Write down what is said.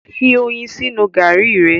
fí oyin sínú garri re.